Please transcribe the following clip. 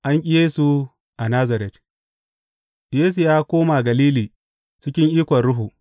An ƙi Yesu a Nazaret Yesu ya koma Galili cikin ikon Ruhu.